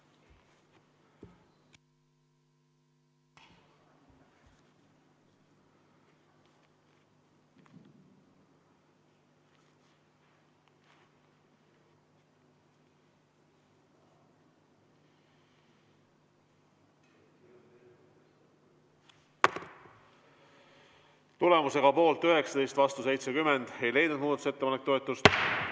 Tulemusega poolt 19, vastu 70 ei leidnud muudatusettepanek toetust.